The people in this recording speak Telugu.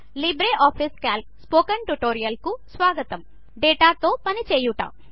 లిబ్రేఆఫీస్ క్యాల్క్ స్పోకెన్ ట్యుటోరియల్కు స్వాగతం డేటాతో పనిచేయుట